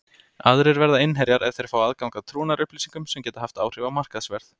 Aðrir verða innherjar ef þeir fá aðgang að trúnaðarupplýsingum sem geta haft áhrif á markaðsverð.